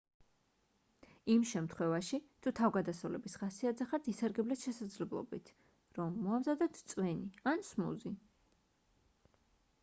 იმ შემთხვევაში თუ თავგადასავლების ხასიათზე ხართ ისარგებლეთ შესაძლებლობით რომ მოამზადოთ წვენი ან სმუზი